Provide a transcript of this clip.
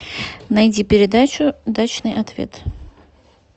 найди передачу дачный ответ